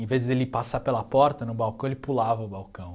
Em vez de ele passar pela porta, no balcão, ele pulava o balcão.